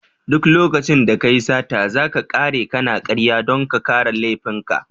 Duk lokacin da kayi sata, zaka kare kana karya dan ka kare laifin ka.